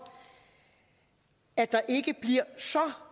at der ikke bliver så